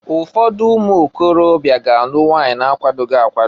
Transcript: Ụfọdụ ụmụịkorobịa ga-alụ nwunye na akwadoghi akwado.